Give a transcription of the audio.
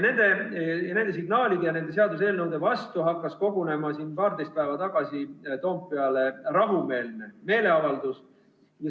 Selliste signaalide ja menetletavate seaduseelnõude vastu hakkas kogunema paarteist päeva tagasi Toompeale rahumeelne meeleavaldus.